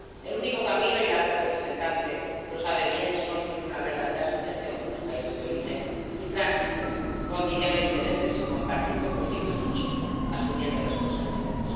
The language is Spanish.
El único camino y la alta representante lo sabe bien— es construir una verdadera asociación con los países de origen y tránsito conciliando intereses, compartiendo proyectos y asumiendo responsabilidades.